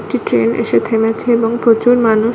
একটি ট্রেন এসে থেমেছে এবং প্রচুর মানুষ--